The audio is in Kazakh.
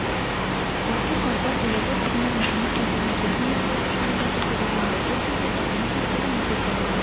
еске салсақ елорда тұрғындарының жұмыс кестесін өзгерту мәселесі жылы да көтерілгенді ол кезде астана басшылығы мектептердегі